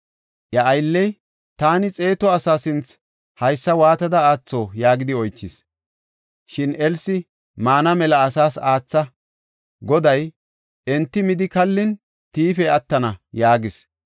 Iya aylley, “Taani xeetu asaa sinthe haysa waatada aatho?” yaagidi oychis. Shin Elsi, “Maana mela asaas aatha; Goday ‘Enti midi kallin, tiifey attana’ ” yaagis.